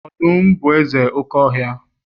Ọdum bu eze oke ohia